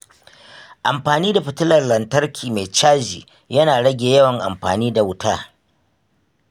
Amfani da fitilar lantarki mai caji yana rage yawan amfani da wuta.